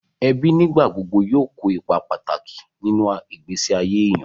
Ẹbí nígbà gbogbo yóò kó ipa pàtàkì nínú ìgbésí ayé èèyàn